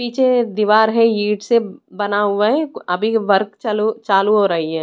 पीछे दीवार है ईंट से बना हुआ है अभी वर्क च चालू हो रही है।